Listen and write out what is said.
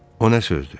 O nə sözdür?